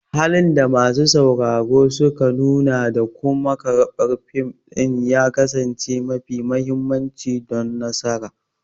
Halin da masu sauraro suka nuna da kuma karɓar fim ɗin ya kasance mafi mahimmanci don nasararsa.